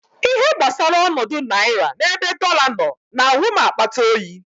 Ihe gbasara ọnọdụ naira n'ebe dọla nọ na-awụ m akpata oyi.